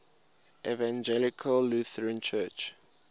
evangelical lutheran church